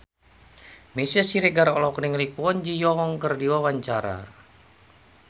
Meisya Siregar olohok ningali Kwon Ji Yong keur diwawancara